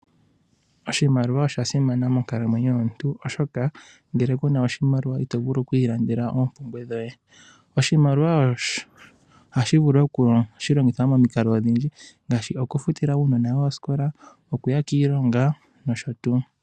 Oshimaliwa osha simana monkalamweyo yomuntu, oshoka ngele kuna oshimaliwa ito vulu okuilandela oompumbwe dhoye. Oshimaliwa ohashi longithwa momikalo odhindji, ngaashi okufutila uunona woye osikola, okuya kiilonga nosho tuu.